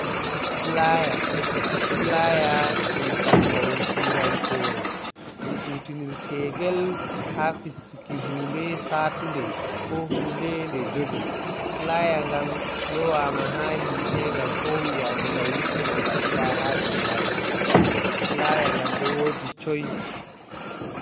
Flaya, flaya ɗum kalmawol turankoore. Ɗum kutinirtengel ha fistuki hunnde saatunde, ko hunde nde jogi. flaya ngan lowama ha hite, nga fowi, yake nga wurtina nga bila ha dow haire. flaya nga ɗo woji choi.